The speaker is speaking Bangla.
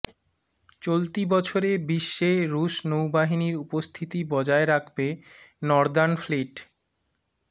চলতি বছরে বিশ্বে রুশ নৌবাহিনীর উপস্থিতি বজায় রাখবে নর্দার্ন ফ্লিট